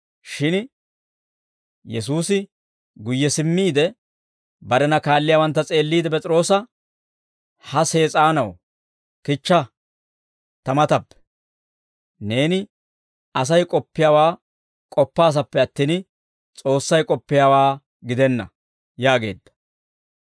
Shin Yesuusi guyye simmiide, barena kaalliyaawantta s'eelliide P'es'iroosa, «Ha Sees'aanaw, kichcha ta matappe! Neeni Asay k'oppiyaawaa k'oppaasappe attin, S'oossay k'oppiyaawaa gidenna» yaageedda.